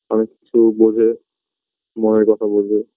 অনেক কিছু বোঝে মনের কথা বোঝে